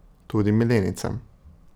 Tudi milenijcem.